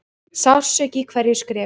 Sársauki í hverju skrefi.